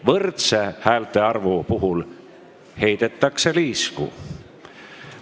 Võrdse häältearvu puhul heidetakse liisku.